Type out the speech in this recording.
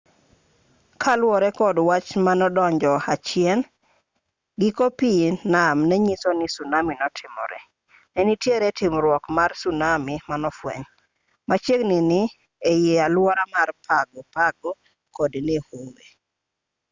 kaluwore kod wach manodonjo achien giko pii nam nenyiso ni sunami notimore nenitiere timruok mar sunami manofweny machiegini e aluora mar pago pago kod niue